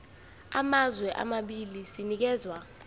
samazwe amabili sinikezwa